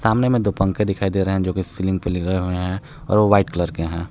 सामने में दो पंखे दिखाई दे रहे हैं जोकि सीलिंग पे लगाए हुए हैं और वो व्हाइट कलर के हैं।